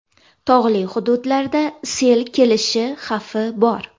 Tog‘li hududlarda sel kelishi xavfi bor.